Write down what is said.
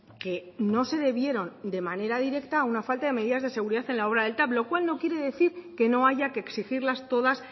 que no se debieron de manera directa a una falta de medidas de seguridad en la obra del tav lo cual no quiere decir que no haya que exigirlas todas